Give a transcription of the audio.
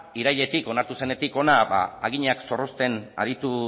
irailetik onartu zenetik hona haginak zorrozten aritu